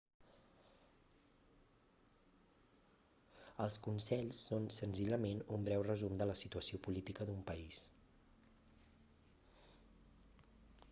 els consells són senzillament un breu resum de la situació política d'un país